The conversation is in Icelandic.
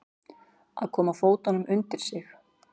Að koma fótunum undir sig